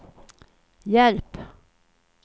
hjälp